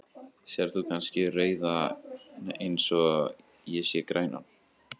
Sérð þú kannski rauðan eins og ég sé grænan?.